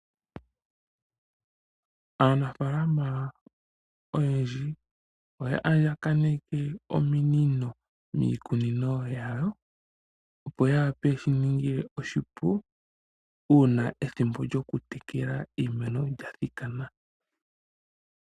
Aanafalama oyendji oya andjakaneke ominino miikunino yawo, opo ye shi ninge oshipu uuna ethimbo lyokutekela iimeno yawo lya thikana.